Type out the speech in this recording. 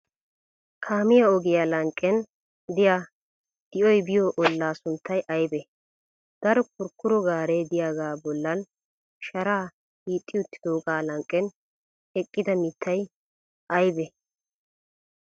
kaamiya ogiyaa lanqqen diya di'oy biyoo ollaa sunttay aybee? Daro kurkkuro gaaree diyaagaa bollan sharaa hiixxi uttidoogaa lanqqen eqqida mittay aybee?